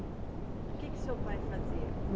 O que que seu pai fazia?